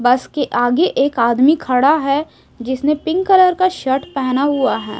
बस के आगे एक आदमी खड़ा हैं जिसने पिंक कलर का शर्ट पेहना हुआ हैं।